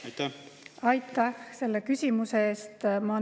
Aitäh selle küsimuse eest!